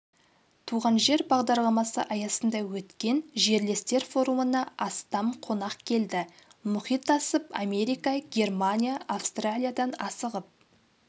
туған жер бағдарламасы аясында өткен жерлестер форумына астам қонақ келді мұхит асып америка германия австралиядан асығып